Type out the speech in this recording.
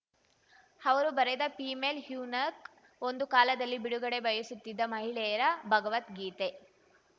ಅವರು ಬರೆದ female eunuch ಒಂದು ಕಾಲದಲ್ಲಿ ಬಿಡುಗಡೆ ಬಯಸುತ್ತಿದ್ದ ಮಹಿಳೆಯರ ಭಗವದ್ಗೀತೆ